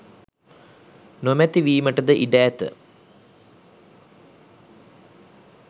නොමැති වීමටද ඉඩ ඇත.